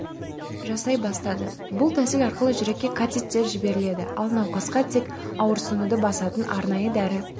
жасай бастады бұл тәсіл арқылы жүрекке катетер жіберіледі ал науқасқа тек ауырсынуды басатын арнайы дәрі